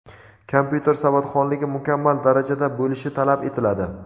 kompyuter savodxonligi mukammal darajada bo‘lishi talab etiladi.